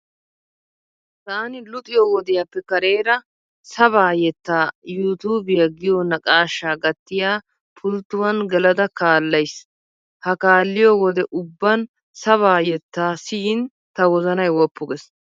Taani luxiyo wodiyaappe kareera sabaa yettaa you tuubiya giyo naqaashsha gattiya pulittuwan gelada kaallayiis. A kaalliyo wode ubban sabaa yettaa siyiin ta wozanay woppu gees.